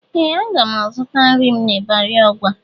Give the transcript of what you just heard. Ee! Aga m azụta nri m n'ịbarị Ọgwa.